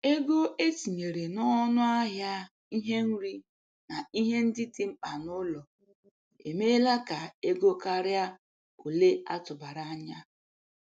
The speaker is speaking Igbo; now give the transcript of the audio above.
Ego etinyere n'ọnụ ahịa ihe nri na ihe ndị dị mkpa n'ụlọ emela ka ego karịa ole atụbara anya.